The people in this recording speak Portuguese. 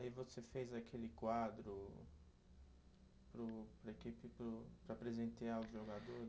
Aí você fez aquele quadro para o, para a equipe e para o, para presentear os jogadores?